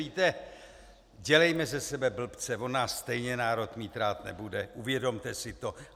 Víte, dělejme ze sebe blbce, on nás stejně národ mít rád nebude, uvědomte si to.